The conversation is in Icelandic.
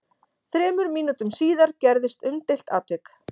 Þremur mínútum síðar gerðist umdeilt atvik.